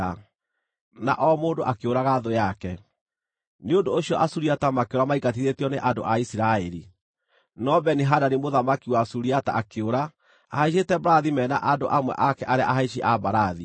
na o mũndũ akĩũraga thũ yake. Nĩ ũndũ ũcio Asuriata makĩũra maingatithĩtio nĩ andũ a Isiraeli. No Beni-Hadadi mũthamaki wa Suriata akĩũra ahaicĩte mbarathi me na andũ amwe ake arĩa ahaici a mbarathi.